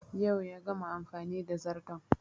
Yau ya gama amfani da zarton